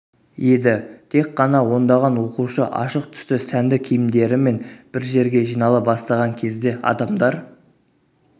еді тек қана ондаған оқушы ашық түсті сәнді киімдерімен бір жерге жинала бастаған кезде адамдар